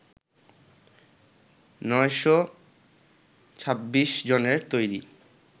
৯শ ২৬ জনের তৈরি